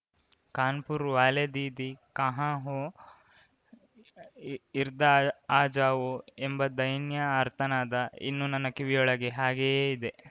ಕಾನ್‌ ಪುರ್‌ ವಾಲೇ ದೀದೀಕಾಹಾಂ ಹೋ ಇರ್ದ ಆಜಾವೋಎಂಬ ದೈನ್ಯ ಆರ್ತನಾದ ಇನ್ನೂ ನನ್ನ ಕಿವಿಗೊಳಗೆ ಹಾಗೆಯೇ ಇದೆ